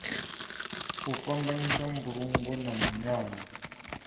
u fhambanyisa mbulungo na munyanya